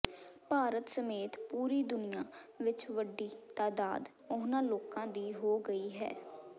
ਭਾਰਤ ਸਮੇਤ ਪੂਰੀ ਦੁਨੀਆ ਵਿਚ ਵੱਡੀ ਤਾਦਾਦ ਉਹਨਾਂ ਲੋਕਾਂ ਦੀ ਹੋ ਗਈ ਹੈ